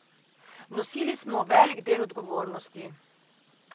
Nosili smo velik del odgovornosti.